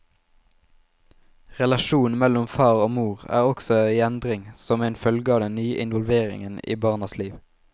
Relasjonen mellom far og mor er også i endring som en følge av den nye involveringen i barnas liv.